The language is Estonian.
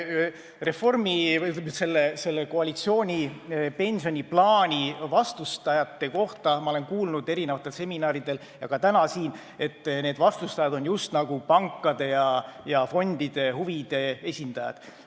Mis puutub selle koalitsiooni pensioniplaani vastustajatesse, siis ma olen kuulnud mitmesugustel seminaridel ja ka täna siin, et need vastustajad on just nagu pankade ja fondide huvide esindajad.